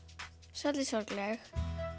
svolítið sorgleg